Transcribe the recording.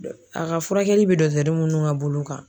A ka furakɛli bi minnu ka bolo kan.